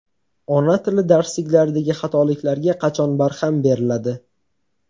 Ona tili darsliklaridagi xatoliklarga qachon barham beriladi?.